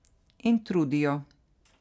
In trudijo.